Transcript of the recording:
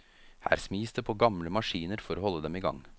Her smis det på gamle maskiner for å holde dem i gang.